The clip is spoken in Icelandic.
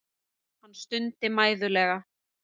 Hann stundi mæðulega.